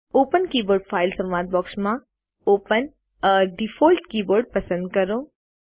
open keyboard file સંવાદ બૉક્સમાં open એ ડિફોલ્ટ કીબોર્ડ પસંદ કરો